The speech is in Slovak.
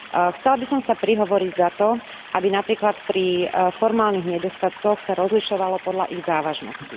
Chcela by som sa prihovoriť za to, aby napríklad pri formálnych nedostatkoch sa rozlišovalo podľa ich závažnosti.